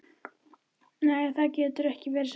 Nei, það getur ekki verið satt.